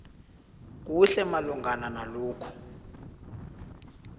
kuhle malungana nalokhu